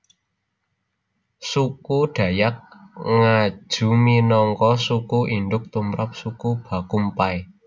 Suku Dayak Ngaju minangka suku induk tumrap suku Bakumpai